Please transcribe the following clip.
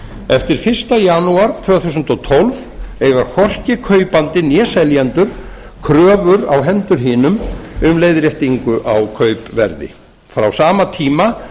eftir fyrsta janúar tvö þúsund og tólf eiga hvorki kaupandi né seljendur kröfur á hendur hinum um leiðréttingu á kaupverði frá sama tíma